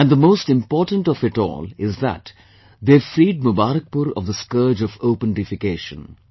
And the most important of it all is that they have freed Mubarakpur of the scourge of open defecation